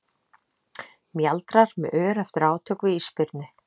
Mjaldrar með ör eftir átök við ísbirni.